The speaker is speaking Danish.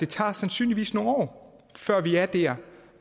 tager sandsynligvis nogle år før vi er der